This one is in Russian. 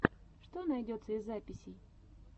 что найдется из записей